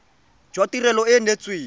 jwa tirelo e e neetsweng